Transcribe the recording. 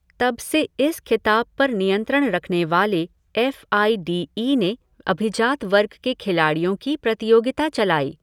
तब से इस खिताब पर नियंत्रण रखने वाले एफ़ आई डी ई ने अभिजात वर्ग के खिलाडि़योँ की प्रतियोगिता चलाई।